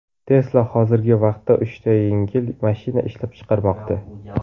Tesla hozirgi vaqtda uchta yengil mashina ishlab chiqarmoqda.